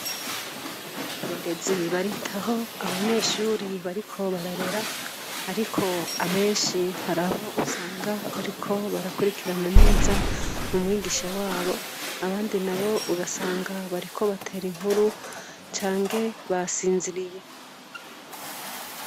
Abarezi baritaho abanyeshure bariko bararera ariko benshi haraho usanga bariko barakwirikirana neza umwigisha wabo abandi nabo ugasanga bariko batera inkuru Canke basinziriye.